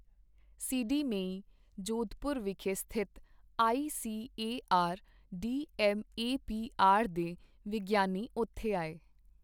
ਸੀਡੀ ਮੇਈ, ਜੋਧਪੁਰ ਵਿਖੇ ਸਥਿਤ ਆਈਸੀਏਆਰ ਡੀਐਮਏਪੀਆਰ ਦੇ ਵਿਗਿਆਨੀ ਉੱਥੇ ਆਏ।